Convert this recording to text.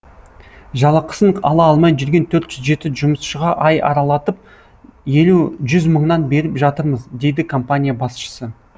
жалақысын ала алмай жүрген төрт жүз жеті жұмысшыға ай аралатып елу жүз мыңнан беріп жатырмыз дейді компания басшысы